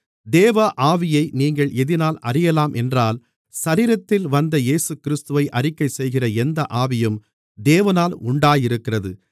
தேவ ஆவியை நீங்கள் எதினாலே அறியலாம் என்றால் சரீரத்தில் வந்த இயேசுகிறிஸ்துவை அறிக்கை செய்கிற எந்த ஆவியும் தேவனால் உண்டாயிருக்கிறது